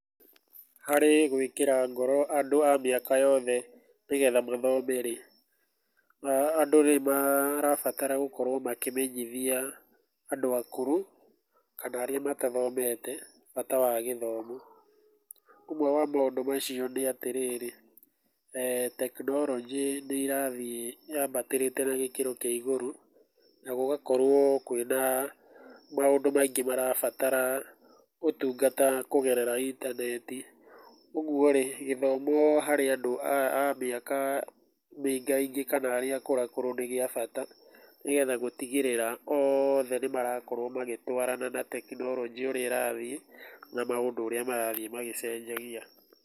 Harĩ gwĩkĩra ngoro andũ a mĩaka yothe nĩgetha mathome rĩ, andũ nĩ marabatara gũkorwo makĩmenyithia andũ akũrũ kana arĩa matathomete bata wa gĩthomo. Ũguo nĩ kũga atĩrĩrĩ, tekinoronjĩ nĩ ĩrathiĩ yambatĩrĩte na gĩkĩro kĩa igũrũ na gũgakorwo kwĩna maũndũ maingĩ marabatara ũtungata kũgerera intaneti kwoguo rĩ, gĩthomo harĩ andũ a mĩaka mĩingaingĩ kana arĩa akũrũ nĩ kĩa bata nĩgetha gũtigĩrĩra oothe nĩ marakorwo magĩtũarana na tekinoronjĩ ũrĩa ĩrathiĩ na maũndũ ũrĩa marathiĩ magĩcenjagia.